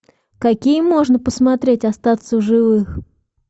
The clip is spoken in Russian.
какие можно посмотреть остаться в живых